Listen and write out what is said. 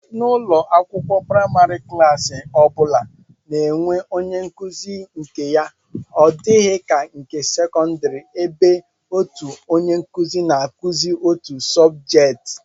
N'ụlọakwụkwọ praịmarị, klaasị ọ bụla na-enwe onyenkụzi nke ya, ọ dịghị ka nke sekọndịrị ebe otu onyenkụzi na-akụzi otu sọbjeet